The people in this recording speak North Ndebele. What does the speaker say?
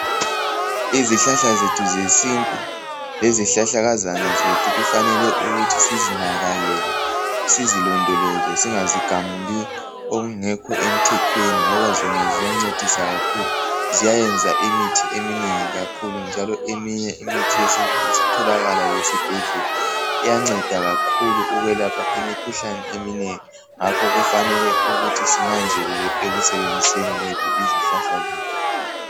Izihlahla zethu zesintu lezihlahlakazana zethu kufanele ukuthi sizinakekele, sizilondoloze singazigamuli okungekho emthethweni ngoba zona ziyancedisa kakhulu. Ziyenza imithi eminengi kakhulu njalo eminye imithi yesintu isitholakala lesibhedlela. Iyanceda kakhulu ukwelapha imikhuhlane eminengi ngakho kufanele ukuthi sinanzelele ekusebenziseni kwethu izihlahla lezi.